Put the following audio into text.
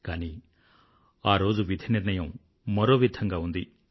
కానీ ఆ రోజు విధి నిర్ణయం మరో విధంగా ఉంది